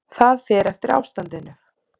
Það fer eftir ástandinu.